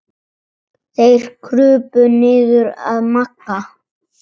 Þeir krupu niður að Magga.